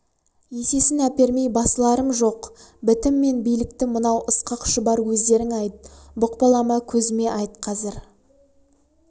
есесін әпермей басыларым жоқ бітім мен билікті мынау ысқақ шұбар өздерің айт бұқпалама көзіме айт қазір